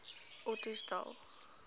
ottosdal